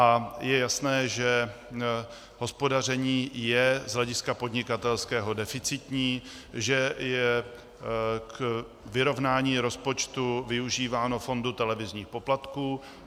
A je jasné, že hospodaření je z hlediska podnikatelského deficitní, že je k vyrovnání rozpočtu využíváno fondu televizních poplatků.